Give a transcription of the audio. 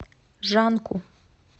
жанку